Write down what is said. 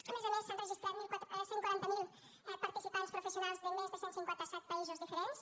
a més a més s’han registrat cent i quaranta miler participants professionals de més de cent i cinquanta set països diferents